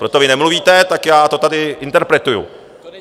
Protože vy nemluvíte, tak já to tady interpretuji.